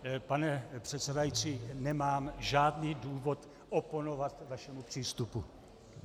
Pane předsedající, nemám žádný důvod oponovat vašemu přístupu.